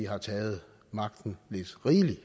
har taget magten lidt rigeligt